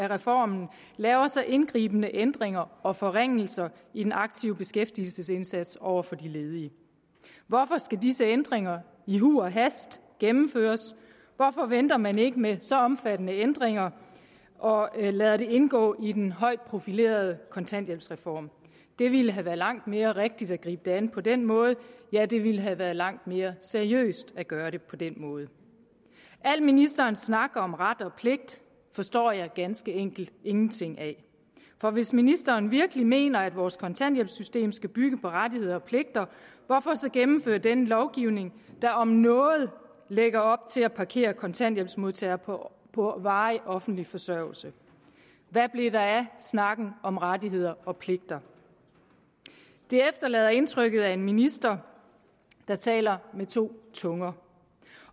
reformen laver så indgribende ændringer og forringelser i den aktive beskæftigelsesindsats over for de ledige hvorfor skal disse ændringer i huj og hast gennemføres hvorfor venter man ikke med så omfattende ændringer og lader det indgå i den højt profilerede kontanthjælpsreform det ville have været langt mere rigtigt at gribe det an på den måde ja det ville have været langt mere seriøst at gøre det på den måde al ministerens snak om ret og pligt forstår jeg ganske enkelt ingenting af for hvis ministeren virkelig mener at vores kontanthjælpssystem skal bygge på rettigheder og pligter hvorfor så gennemføre denne lovgivning der om noget lægger op til at parkere kontanthjælpsmodtagere på på varig offentlig forsørgelse hvad blev der af snakken om rettigheder og pligter det efterlader indtrykket af en minister der taler med to tunger